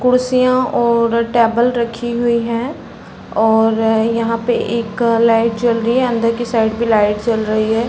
कुर्सियाँ और टेबल रखी हुई हैं और यहाँ पे एक लाइट जल रही है। अंदर की साइड भी लाइट जल रही है।